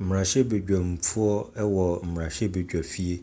Mmarahyɛbadwamfoɔ wɔ mmarahyɛbadwafie.